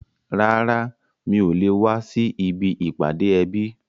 Rárá, mi ò le wá sí ibi ìpàdé ẹbí